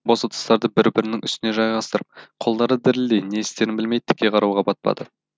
бос ыдыстарды бір бірінің үстіне жайғастырып қолдары дірілдей не істерін білмей тіке қарауға батпады